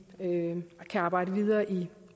kan arbejde videre i